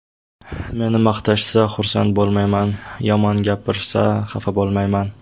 Meni maqtashsa, xursand bo‘lmayman, yomon gapirsa xafa bo‘lmayman.